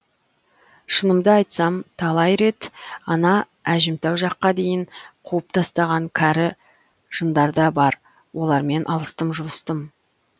шынымды айтсам талай рет ана әжімтау жаққа дейін қуып тастаған кәрі жындар да бар олармен алыстым жұлыстым